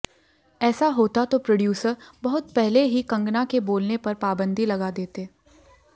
ऐसा होता तो प्रोड्यूसर बहुत पहले ही कंगना के बोलने पर पाबंदी लगा देते